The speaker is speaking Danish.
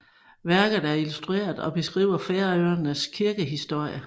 Værket er illustreret og beskriver Færøernes kirkehistorie